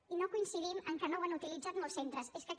i no coincidim en què no ho han utilitzat molts centres és que aquest